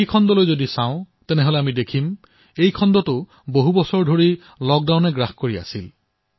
কৃষি খণ্ডলৈ লক্ষ্য কৰিলে দেখিব যে এই খণ্ডৰো বহু দিশ দশকজুৰি লকডাউনৰ মাজত আছিল